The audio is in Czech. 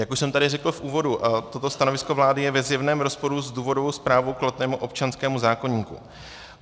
Jak už jsem tady řekl v úvodu, toto stanovisko vlády je ve zjevném rozporu s důvodovou zprávou k platnému občanskému zákoníku.